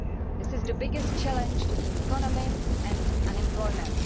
This is the biggest challenge to the economy and employment.